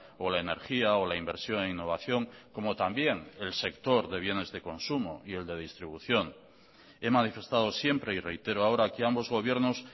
o la energía o la inversión e innovación como también el sector de bienes de consumo y el de distribución he manifestado siempre y reitero ahora que ambos gobiernos